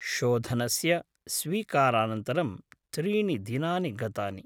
शोधनस्य स्वीकारानन्तरं त्रीणि दिनानि गतानि।